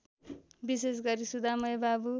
विशेषगरी सुधामय बाबु